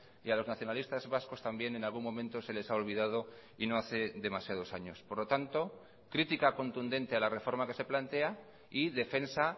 y a los nacionalistas vascos también en algún momento se les ha olvidado y no hace demasiados años por lo tanto crítica contundente a la reforma que se plantea y defensa